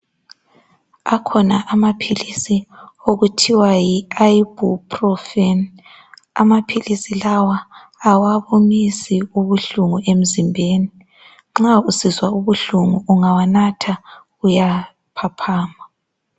Akhona amaphilisi okuthiwa yi ayibhupulofeni amaphilisi lawa awabumisi ubuhlungu emzimbeni. Nxa usizwa ubuhlungu ungawanatha uyaphaphama.